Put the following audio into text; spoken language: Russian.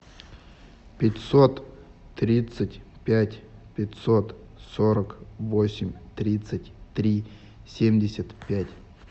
пятьсот тридцать пять пятьсот сорок восемь тридцать три семьдесят пять